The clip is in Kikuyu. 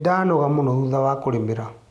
Nĩndanoga mũno thutha wa kũrĩmĩra.